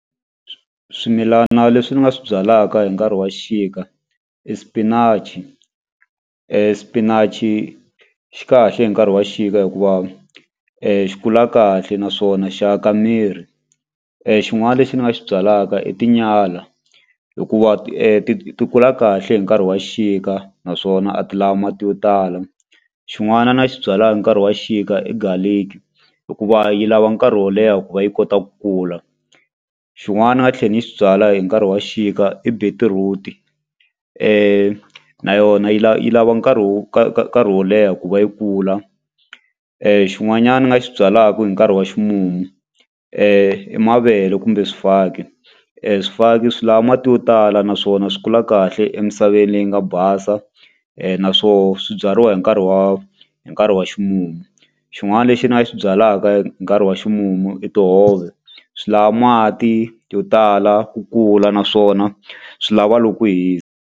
swimilana leswi ni nga swi byalaka hi nkarhi wa xixika i spinach spinach xi kahle hi nkarhi wa xixika hikuva xi kula kahle naswona xa ka miri xin'wani lexi ni nga xi byalaka i tinyala hikuva ti ti kula kahle hi nkarhi wa xixika naswona a ti la mati yo tala xin'wana na xi byalaka nkarhi wa xixika i garlic hikuva yi lava nkarhi wo leha ku va yi kota ku kula xin'wana ni nga tlhe ni xi byala hi nkarhi wa xixika i beetroot-i na yona yi yi lava nkarhi wo karhi wo leha ku va yi kula xin'wanyani ni nga xi byalaku hi nkarhi wa ximumu mavele kumbe swifaki swifaki swi lava mati yo tala naswona swi kula kahle emisaveni leyi nga basa na swo swibyariwa hi nkarhi wa hi nkarhi wa ximumu xin'wani lexi ni nga xi byalaka hi nkarhi wa ximumu i tihove swi lava mati yo tala ku kula naswona swi lava loko ku .